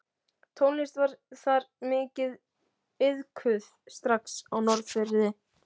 Tónlist var þar mikið iðkuð strax á Norðfirði.